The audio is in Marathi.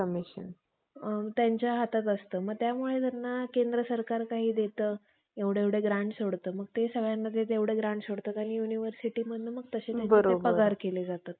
तर सर्वांच्या मागून आलेल्या अर्जुनाच्या, जनमेजय नावाच्या पन्न~ पनोतीच्या हकीकत त्यामध्ये कधीच आली नसती. तुमचे म्हणणे, रास्त आहे.